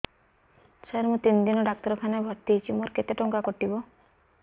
ସାର ମୁ ତିନି ଦିନ ଡାକ୍ତରଖାନା ରେ ଭର୍ତି ହେଇଛି ମୋର କେତେ ଟଙ୍କା କଟିବ